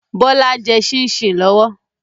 Bọlá ń jẹ́ sìn-sìn lọ́wọ́.